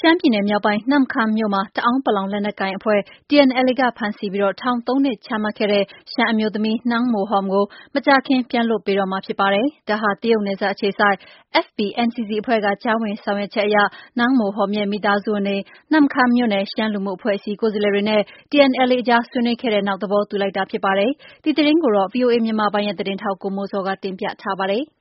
ရှမ်းပြည်နယ်မြောက်ပိုင်း နမ့်ခမ်းမြို့ တအာင်း လက်နက်ကိုင်အဖွဲ့ TNLA ကဖမ်းဆီးပြီးထောင် ၃နှစ်ချမှတ်ခဲ့တဲ့ရှမ်းအမျိုးသမီး နန်းမိုဟွမ်ကို မကြာခင် ပြန်လွှတ်ပေးတော့မှာ ဖြစ်ပါတယ်။ ဒါဟာ တရုတ်နယ်စပ်အခြေစိုက် FPNCC အဖွဲ့က ကြားဝင်ဆောင်ရွက်ချက်အရ နန်းမိုဟွမ် မိသားစုဝင်တွေ၊ နမ့်ခမ်းမြို့နယ် ရှမ်းလူမှုအဖွဲ့အစည်းကိုယ်စားလှယ်တွေနဲ့ TNLA အကြားဆွေးနွေး ခဲ့တဲ့ နောက် သဘောတူလိုက်တာဖြစ်ပါတယ်။ ဒီသတင်းကို ဗွီအိုအေမြန်မာပိုင်းရဲ့သတင်းထောက် ကိုမိုးဇော်က တင်ပြထားပါတယ်။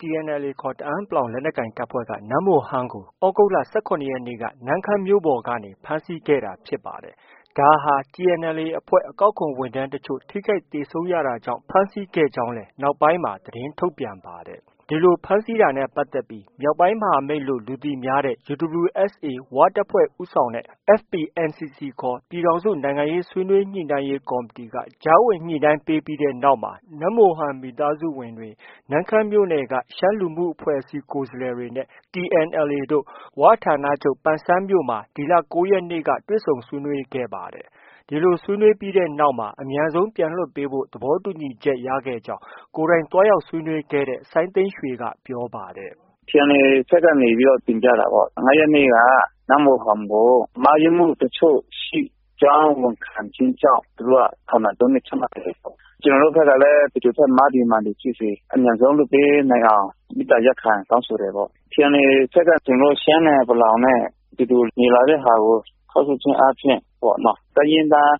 TNLA ခေါ် တအာင်း လက်နက်ကိုင်အဖွဲ့က နန်းမိုဟွမ်ကို သြဂုတ်လ ၁၇ရက်နေ့က နမ့်ခမ်းမြို့ပေါ်ကနေ ဖမ်းဆီးခဲ့တာဖြစ်ပါတယ်။ ဒါဟာ TNLA အဖွဲ့ အကောက်ခွန်ဝန်ထမ်းတချို့ ထိခိုက်သေဆုံးခဲ့ရတာကြောင့် ဖမ်းဆီးကြောင်းလည်း နောက်ပိုင်းမှာ သတင်းထုတ်ပြန်ခဲ့ပါတယ်။ ဒီလို ဖမ်းဆီးခဲ့တာနဲ့ပတ်သက်ပြီး မြောက်ပိုင်းမဟာမိတ်ဆိုပြီး လူသိများတဲ့ UWSA ဝတပ်ဖွဲ့ ဦးဆောင်တဲ့ FPNCC ခေါ် ပြည်ထောင်စု နိုင်ငံရေးဆွေးနွေးညှိနှိုင်းရေးကော်မတီ က ကြားဝင်ညှိနှိုင်းပေးတဲ့နောက်မှာ နန်းမိုဟွမ် မိသားစုဝင်တွေ၊ နမ့်ခမ်းမြို့နယ် ရှမ်းလူမှုအဖွဲ့အစည်းကိုယ်စားလှယ်တွေနဲ့ TNLA တို့ ဝဌာနချုပ် ပန်ဆန်းမြို့မှာ ဒီလ ၉ရက်နေ့က တွေ့ဆုံဆွေးနွေးခဲ့ပါတယ်။ ဒီလို ဆွေးနွေးပြီးနောက်မှာ အမြန်ဆုံးပြန်လွှတ်ပေးဖို့ သဘောတူချက် ရခဲ့ကြောင်း ကိုယ်တိုင် သွားရောက် ဆွေးနွေးခဲ့တဲ့ စိုင်းသိန်းရွှေက ပြောပါတယ်။ “ TNLA ဘက်က တင်ပြတာပေါ့။ နန်းမိုဟွမ်ကို မှားယွင်းမှု တချို့ရှိကြောင်း ဝန်ခံခြင်းကြောင့် သူတို့က ထောင်ဒဏ် ၃နှစ် ချမှတ်ခဲ့တယ်ပေါ့။ ကျနော်တို့ဘက်ကလည်း ဘယ်သူဘက် မှားသည် မှန်သည်ဖြစ်စေ အမြန်ဆုံးလွှတ်ပေးနိုင်အောင် မေတ္တာရပ်ခံ တောင်းဆိုတယ်ပေါ့။ TNLA ဘက်က ကျနော်တို့ ရှမ်းနဲ့ ပလောင် အတူတူနေလာတဲ့ဟာကို ထောက်ရှုခြင်းအားဖြင့် တိုင်းရင်းသား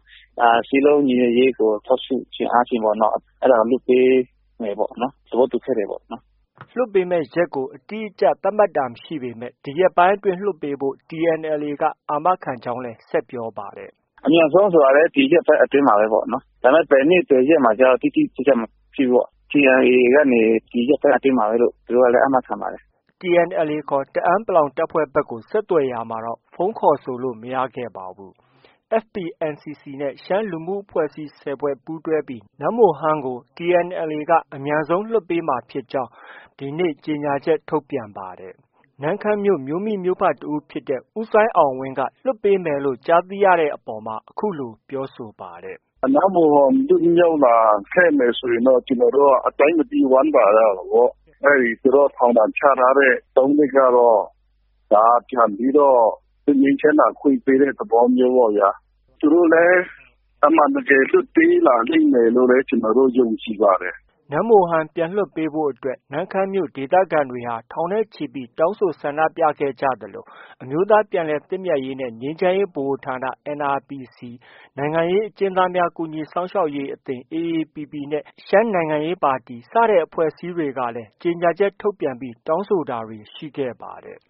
စည်းလုံးညီညွတ်ရေးကို ထောက်ရှုခြင်းအားဖြင့်ပေ့ါနော်၊ အဲဒါ လွှတ်ပေးမယ်ပေါ့နော် ။ သဘောတူခဲ့တယ်။ ” လွှတ်ပေးမယ့် ရက်ကို အတိအကျ သတ်မှတ်တာမရှိပေမဲ့ ဒီရက်ပိုင်းအတွင်းလွှတ်ပေးဖို့ TNLA က အာမခံထားကြောင်းလည်း ဆက်ပြောပါတယ်။ “ အမြန်ဆုံးဆိုတာလည်း ဒီရက်ပိုင်းအတွင်းပေါ့နော။ ဒါပေမဲ့ ဘယ်နေ့ ဘယ်ရက်မှာဆိုတာကျ တိတိကျကျ မရှိဘူးပေါ့။ TNLA ကနေ ဒီရက်ပိုင်းအတွင်းလို့တော့ အာမခံပါတယ်။” TNLA ခေါ် တအာင်း တပ်ဖွဲ့ ဘက်ကို ဆက်သွယ်ရာမှာတော့ ဖုန်း ခေါ်ဆိုလို့ မရခဲ့ပါဘူး။ FPNCCနဲ့ ရှမ်း လူမှုအဖွဲ့အစည်း ၁၀ဖွဲ့ပူးတွဲပြီး နန်းမိုဟွမ်ကို အမြန်ဆုံးပြန်လွှတ်ပေးမှာဖြစ်ကြောင်း ဒီနေ့ ကြေညာချက် ထုတ်ပြန်ပါတယ်။ နမ့်ခမ်းမြို့ မြို့မိမြို့ဖတစ်ဦးဖြစ်တဲ့ ဦးစိုင်းအောင်ဝင်က လွှတ်ပေးမယ်လို့ ကြားသိရတဲ့အပေါ် အခုလိုပြောဆိုပါတယ်။ “နန်းမိုဟွမ် လွှတ်လာခဲ့မယ်ဆိုရင်တော့ ကျနော်တို့က အတိုင်းမသိ ဝမ်းသာရတာပေါ့။ သူတို့ ထောင်ဒဏ်ချထားတဲ့ ၃နှစ်ကတော့ ပြန်ပြီးတော့ လွှတ်ငြိမ်းချမ်းသာခွင့် ပေးတဲ့ သဘောမျိုးပေါ့ဗျာ။ သူတို့လည်း အမှန်တကယ်လွှတ်ပေးလာမယ်လို့လည်း ကျနော်တို့ ယုံကြည်ပါတယ်။” နန်းမိုဟွမ်ကို ပြန်လွှတ်ပေးဖို့အတွက် နန့်ခမ်းမြို့ ဒေသခံတွေ ထောင်နဲ့ချီ တောင်းဆို ဆန္ဒပြခဲ့ကြသလို အမျိုးသား ပြန်လည်သင့်မြတ်ရေးနဲ့ ငြိမ်းချမ်းရေးဗဟိုဌာန NRPC ၊ နိုင်ငံရေးအကျဉ်းသားများ ကူညီစောင့်ရှောက်ရေး အသင်း AAPP နဲ့ ရှမ်းနိုင်ငံရေးပါတီ စတဲ့ အဖွဲ့အစည်းတွေကလည်း ကြေညာချက်ထုတ်ပြန် တောင်းဆိုတာတွေ ရှိခဲ့ပါတယ်